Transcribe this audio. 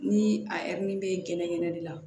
Ni a bɛ gɛnɛgɛnɛ de la